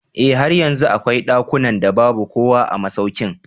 Eh har yanzu akwai dakunan da babu kowa a masaukin.